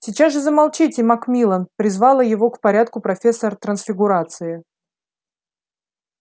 сейчас же замолчите макмиллан призвала его к порядку профессор трансфигурации